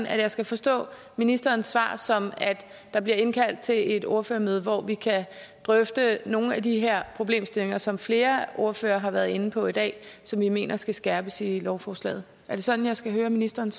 at jeg skal forstå ministerens svar sådan at der bliver indkaldt til et ordførermøde hvor vi kan drøfte nogle af de her problemstillinger som flere ordførere har været inde på i dag og som vi mener skal skærpes i lovforslaget er det sådan jeg skal høre ministerens